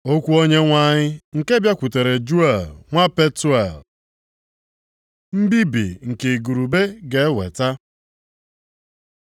Okwu Onyenwe anyị nke bịakwutere Juel nwa Petuel. Mbibi nke igurube ga-eweta